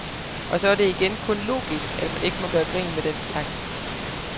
Og så er det igen kun logisk, at man ikke må gøre grin med den slags.